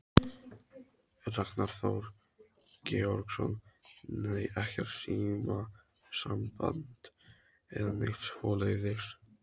Ragnar Þór Georgsson: Nei, ekkert símasamband eða neitt svoleiðis?